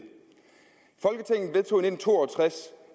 nitten to og tres